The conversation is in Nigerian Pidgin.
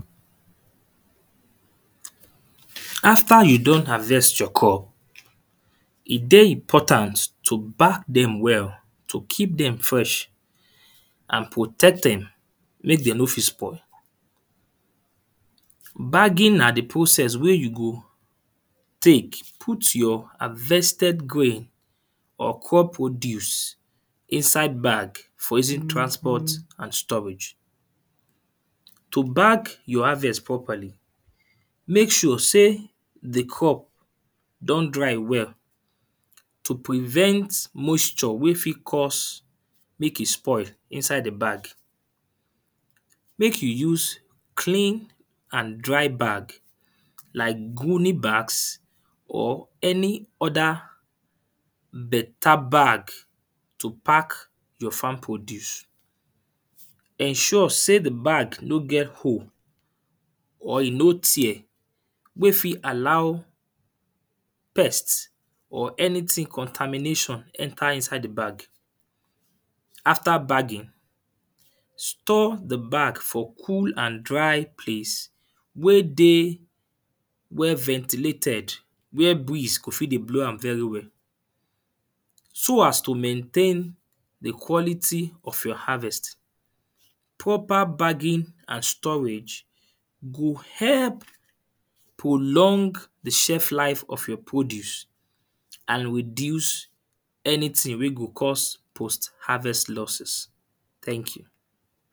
After you do harvest your corn, e dey important to back dem well, to keep dem fresh and protect dem make dem no fit spoil. Bagging na the process wey you go take put your harvested grain or crop produce inside bag for easy transport and storage. To bag your harvest properly, make sure sey the crop don dry well. to prevent moisture wey fit cause make e spoil inside the bag. Make you use clean and dry bag like [2] bags or any other better bag to pack your farm produce. Ensure sey the bag no get hole or e no tear wey fit allow pest or anything contermination enter inside the bag. After bagging store the bag for cool and dry place wey dey where ventilated. Where breeze go fit dey blow am very well. So as to maintain the quality of your harvest. Proper bagging and storage go help prolong the shelf life of your produce and reduce anything wey go cause post harvest loses. Thank you.